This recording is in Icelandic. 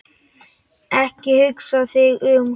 Ekki hugsa þig um.